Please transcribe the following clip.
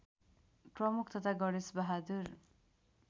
प्रमुख तथा गणेशबहादुर